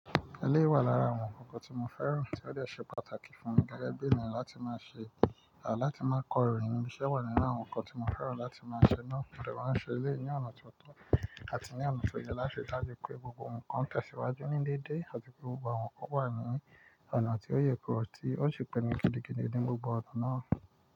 Ilé wà lára àwọn ǹkan tí mo fẹ́ràn tí ó lè ṣe pàtàkì fún mi gẹ́gẹ́ bí ènìyàn láti máa ṣe, à láti máa kọ́ ìrìn, ìṣe wà nínú àwọn ǹkan tí mo fẹ́ràn láti máa ṣe lọ́wọ́, fẹ́ràn ṣe ilé ní ọ̀nà tó tọ́ àti ní ọ̀nà tó yẹ láṣẹ láti kó gbogbo ǹkan tẹ̀síwájú ní dédé àti pé gbogbo àwọn ǹkan wà nínú ọ̀nà tí ó yè ko tí ó sì pinnu ti gidi nínú gbogbo ọ̀nà náà.